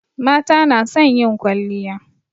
Mata na son yin kwalliya